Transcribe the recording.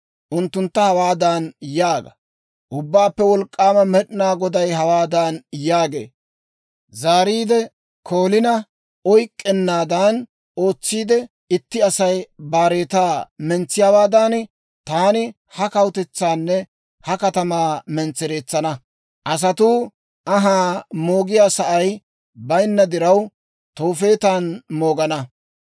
Unttuntta hawaadan yaaga; ‹Ubbaappe Wolk'k'aama Med'inaa Goday hawaadan yaagee; «Zaariide koolina oyk'k'ennaadan ootsiide, itti Asay baaretaa mentsiyaawaadan, taani ha kawutetsaanne ha katamaa mentsereetsana. Asatuu anhaa moogiyaa sa'ay bayinna diraw, Toofeetan moogana.